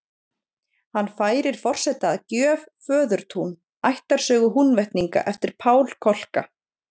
Hann færir forseta að gjöf Föðurtún, ættarsögu Húnvetninga, eftir Pál Kolka.